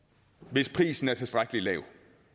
hvis prisen er tilstrækkelig lav